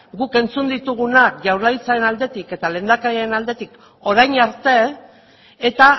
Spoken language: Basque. guk entzun ditugunak jaurlaritzaren aldetik eta lehendakariaren aldetik orain arte eta